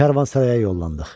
Karvansaraya yollandıq.